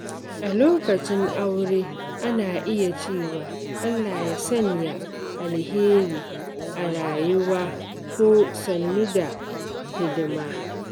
A bikin aure, ana iya cewa "Allah ya sanya alheri a rayuwa" ko "sannu da hidima."